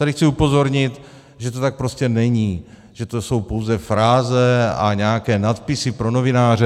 Tady chci upozornit, že to tak prostě není, že to jsou pouze fráze a nějaké nadpisy pro novináře.